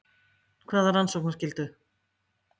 Hvaða rannsóknarskyldu?